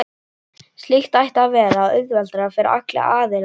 Slíkt ætti að vera auðveldara fyrir alla aðila.